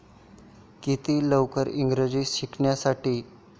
किती लवकर इंग्रजी शिकण्यासाठी?